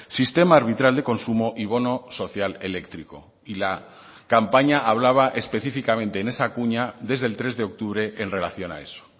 sistema arbitral de consumo y bono social eléctrico y la campaña hablaba específicamente en esa cuña desde el tres de octubre en relación a eso